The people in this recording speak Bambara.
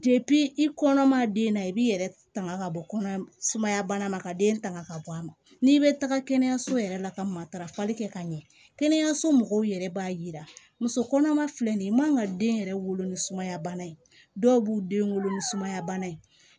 i kɔnɔma ma den na i b'i yɛrɛ tanga ka bɔ kɔnɔ sumaya bana ma ka den tanga ka bɔ a ma n'i bɛ taga kɛnɛyaso yɛrɛ la ka matarafali kɛ ka ɲɛ kɛnɛyaso mɔgɔw yɛrɛ b'a jira muso kɔnɔma filɛ nin ye i man ka den yɛrɛ wolo ni sumaya bana ye dɔw b'u den wolo ni sumaya bana ye